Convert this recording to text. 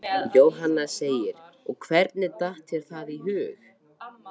Jóhanna: Og hvernig datt þér það í hug?